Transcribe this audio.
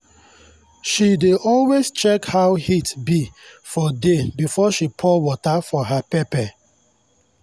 she dey always check how heat be for day before she pour water for her pepper.